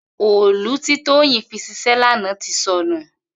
Òòlú ti Toyin fi ṣisè làná ti sọ̀nú